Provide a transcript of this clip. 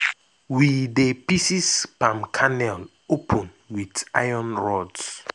we dey pieces palm kernel open with iron rods